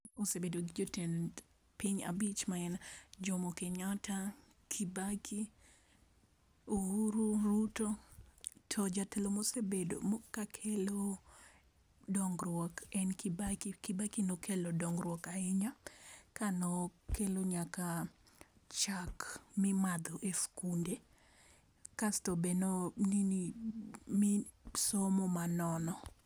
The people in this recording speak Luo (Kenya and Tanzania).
Osebedo gi jotend piny abich ma gin Jomo Kenyatta, Kibaki ,Uhuru, Ruto to jatelo ma osekelo dongruok ahinya, kane no kelo nyaka chak mi imadho e sikunde asto to be ne o nini mi somo ma nono.